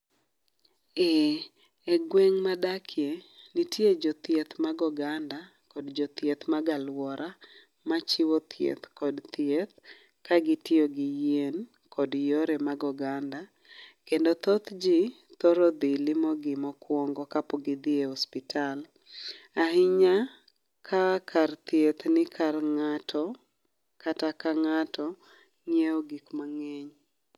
Ee e gweng' ma adakie, nitie jothieth mag oganda, kod jothieth mag alwora. Machiwo thieth kod thieth ka gitiyo gi yien, kod yore mag oganda. Kendo thoth ji thoro dhi limo gi mokwongo ka pok gidhi e osiptal. Ahinya, ka kar thieth ni kar ngáto, kata ka ngáto nyiewo gik mangény.